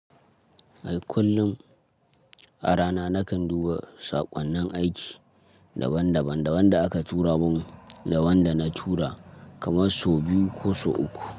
Ai kullum a rana nakan duba saƙonnin aiki daban-daban, da wanda aka tura mun da wanda na tura kamar sau biyu ko sau uku.